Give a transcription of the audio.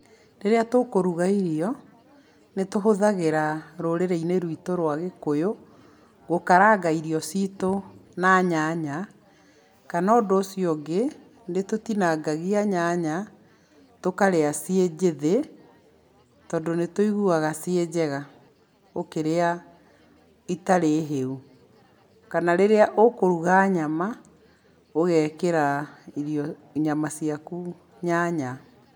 Rĩrĩa tũkũruga irio, nĩ tũhũthagĩra rũrĩrĩ-inĩ ruitũ rwa gĩkũyũ gũkaranga irio citũ na nyanya. Kana ũndũ ũcio ũngĩ, nĩ tũtinangagia nyanya tũkarĩa ciĩ njĩthĩ tondũ nĩ tũiguaga ci njega itarĩ hĩu. Kana rĩrĩa ũkũruga nyama ũgekĩra irio, nyama ciaku nyanya.